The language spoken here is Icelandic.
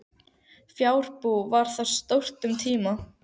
Fjárbú var þar stórt um tíma.